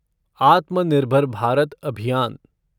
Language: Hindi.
आत्मनिर्भर भारत अभियान